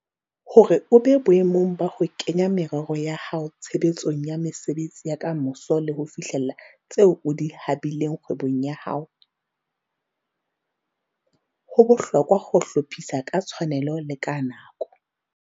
Hore o be boemong ba ho kenya merero ya hao tshebetsong ya mesebetsi ya ka moso le ho fihlella tseo o di habileng kgwebong ya hao, ho bohlokwa ho hlophisa ka tshwanelo le ka nako.